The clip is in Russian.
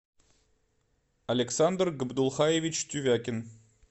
александр габдулхаевич тювякин